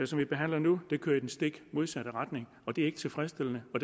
som vi behandler nu kører i den stik modsatte retning og det er ikke tilfredsstillende og